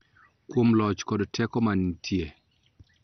Kuom loch kod teko manitie.